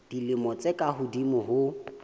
dilemo tse ka hodimo ho